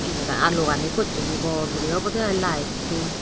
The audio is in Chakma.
yega alugani pocchegi bor guri obode i lite to.